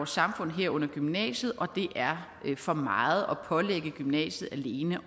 samfund herunder gymnasiet og det er for meget at pålægge gymnasiet alene